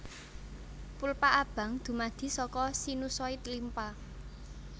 Pulpa abang dumadi saka sinusoid limpa